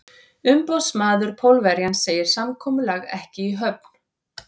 Umboðsmaður Pólverjans segir samkomulag ekki í höfn.